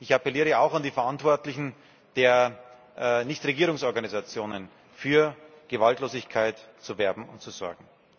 Ich appelliere auch an die Verantwortlichen der Nichtregierungsorganisationen, für Gewaltlosigkeit zu werben und zu sorgen.